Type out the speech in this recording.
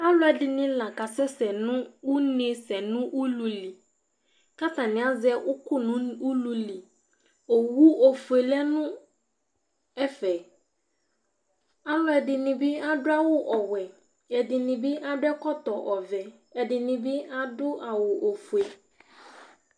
Alʊ ɛɖiŋɩ la ƙa sɛsɛ ŋʊ ʊŋé sɛ ŋʊ ʊluli ƙatani azɛ ʊƙʊ nʊ ʊlʊlɩ Owʊ oƒoé lɛ ŋɛƒɛ , alʊlʊ ɛɖiŋɩ ɓɩ aɖʊ awʊ ɔwɛ, ɛɖinɩ aɖʊ ɛkɔtɔ ɔʋɛ, ɛɖɩnɩ ɓɩ aɖʊ awʊ oƒoé